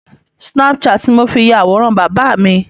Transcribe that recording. snapchat ni mo fi ya àwòrán bàbà mi.